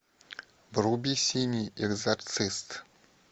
вруби синий экзорцист